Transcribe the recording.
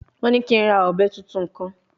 Wọ́n ní kí n ra ọ̀bẹ tuntun kan